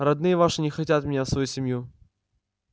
родные ваши не хотят меня в свою семью